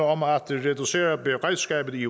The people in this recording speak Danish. om at reducere beredskabet i